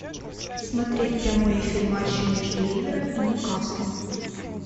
смотреть прямой эфир матча между ливером и ньюкаслом